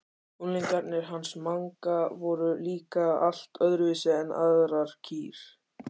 Unglingarnir hans Manga voru líka allt öðruvísi en aðrar kýr.